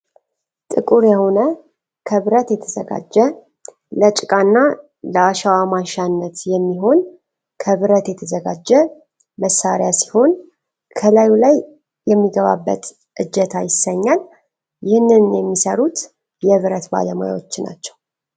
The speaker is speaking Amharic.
ጥቁር የሆነ ክብረት የተዘጋጀ ለጭቃና ለአሻዋ ማንሻነት የሚሆን ክብረት የተዘጋጀ መሳሪያ ሲሆን ። ከላዩ ላይ የሚገባበት እጀታ ይሰኛል ። ይህንን የሚሰሩት የብረት ባለሙያዎች ናቸው።